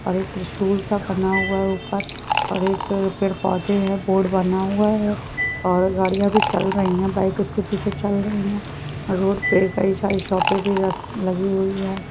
और एक त्रिशूल सा बना हुआ है ऊपर और एक पेड़ पौधे है बोर्ड बना हुआ है और गाड़िया भी चल रही है बाइक उसके पीछे चल रही है और रोड पे कई सारे शॉपे भी लगी हुयी है।